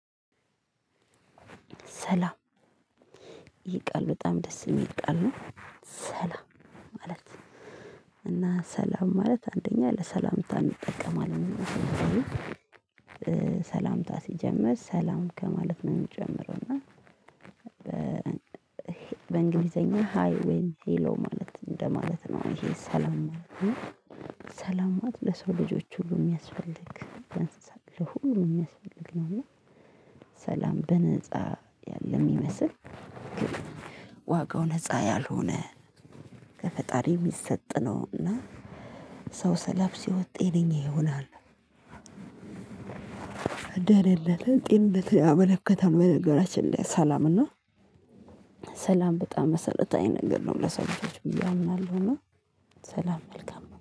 ሰላም ይህ ቃል በጣም ደስ የሚል ቃል ነው። ሰላም ማለት እና ሰላም ማለት አንደኛ ለሰላምታ እንጠቀማለን። ሰላምታ ሲጀምር ሰላም ከማለት ነው የሚጨምረው እና። በእንግሊዘኛ ሃይ ዌይም ሄሎ ማለት እንደማለት ነው ይሄ ሰላም ማለት ነው። ሰላማት ለሰው ልጆች ሁሉ የሚያስፈልግ ለሁሉ የሚያስፈልግ ነውና። ሰላም በነፃ ያለ የሚመስል። ዋጋው ነፃ ያልሆነ ከፈጣሪ የሚሰጥ ነውና። ሰው ሰላም ሲሆን ጤነነኛ ይሆናል። አደረለት ጤንነት ያመለከተው በነገራችን ላይ ሰላምና። ሰላም በጣም መሰረታዊ ነገር ነው ለሰው ልጆች ብየ አምናለሁ እና። ሰላም መልካም